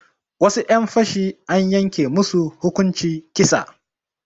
Wasu 'yan fashi an yanke musu hukunci kisa